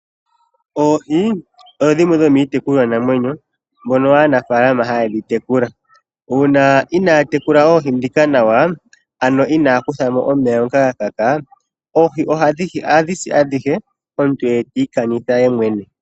Oohi odho dhimwe dhomiitekulwa namwenyo dhono aanafaalama hayedhi tekula uuna oohi inadhi tekulwa nawa, inaakutha mo omeya ngoka gakaka ohadhi si adhihe omuntu eti ikanitha yemwene.